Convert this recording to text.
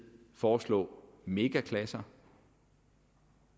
foreslå megaklasser